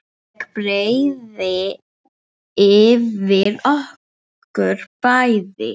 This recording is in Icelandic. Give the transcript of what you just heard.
Ég breiði yfir okkur bæði.